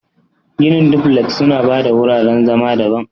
Ginin duflek suna ba da wuraren zama daban.